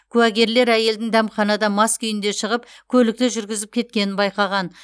куәгерлер әйелдің дәмханада мас күйінде шығып көлікті жүргізіп кеткенін байқаған